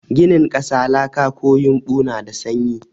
Ginin ƙasa, laka ko yumbo na da sanyi.